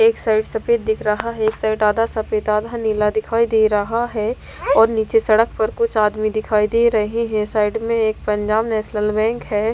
एक साइड सफेद दिख रहा है। एक साइड आधा सफेद आधा नीला दिखाई दे रहा है और नीचे सड़क पर कुछ आदमी दिखाई दे रहे हैं। साइड में एक पंजाब नेशनल बैंक है।